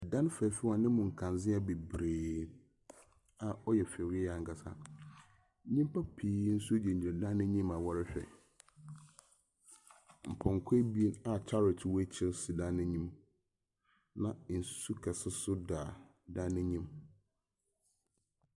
Dan fɛɛfɛw a ne mu nkandzea a ɔyɛ fɛw yiye ankasa. Nnyimpa pii nso gyinagyina dan no anyim a wɔrehwɛ. Mpɔnkɔ abien a kyarɔt wɔ akyir si dan no anim. Na nsu kɛse nso da dan no enyim.